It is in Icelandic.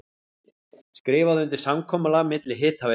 Skrifað undir samkomulag milli Hitaveitu